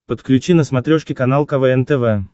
подключи на смотрешке канал квн тв